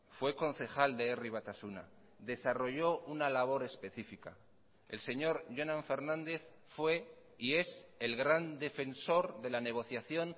fue concejal de herri batasuna desarrolló una labor específica el señor jonan fernández fue y es el gran defensor de la negociación